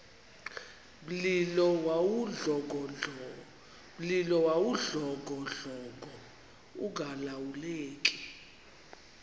mlilo wawudlongodlongo ungalawuleki